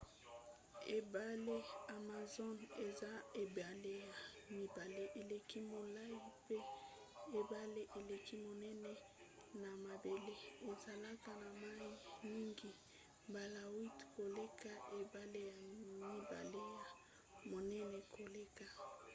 ebale amazon eza ebale ya mibale eleki molai mpe ebale eleki monene na mabele. ezalaka na mai mingi mbala 8 koleka ebale ya mibale ya monene koleka